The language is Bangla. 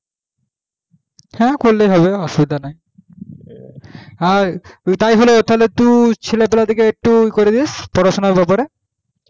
হ্যাঁ করলে হবে অসুবিধা নাই আর তাই হলো তুই ছেলে পেলে দের কে ওই করে দিস পড়াশোনার ব্যাপারে